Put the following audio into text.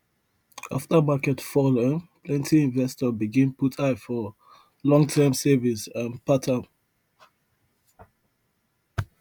after market fall um plenty investors begin put eye for longterm savings um pattern